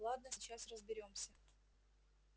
ладно сейчас разберёмся